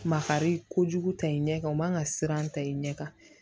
Makari kojugu ta i ɲɛ kan o man kan ka siran ta i ɲɛ kan